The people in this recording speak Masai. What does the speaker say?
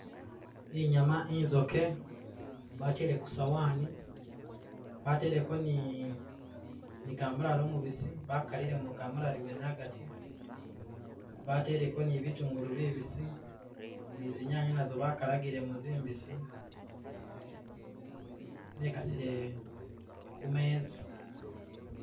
Inyama itsoke batele kusowani bateleko ni ni kamulali umubisi bakalilemo kamulali mwene agati bateleko ni bitungulu bibisi ninzinyanye nazo bakalilemo nzimbisi bekasile kumezza